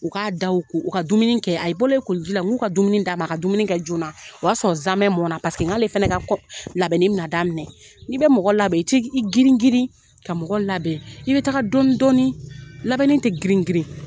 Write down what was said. U k'a daw ko u ka dumuni kɛ a bolen koliji la n k'u ka dumuni d'a ma a ka dumuni kɛ joona o y'a sɔrɔ zaamɛ mɔn na paseke n k'ale fana ka kɔ labɛnni bɛ na daminɛ n'i bɛ mɔgɔ labɛn i tɛ i girin girin ka mɔgɔ labɛn i bɛ taga dɔɔni dɔɔni labɛnni tɛ grin girin.